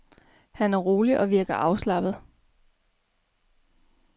Han er rolig og virker afslappet.